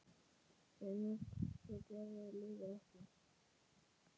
En sú gjörð lifir ekki.